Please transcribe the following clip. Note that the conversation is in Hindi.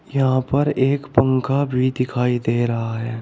यहां पर एक पंखा भी दिखाई दे रहा है।